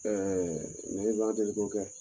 Ɛɛ ne b'a deli ko kɛ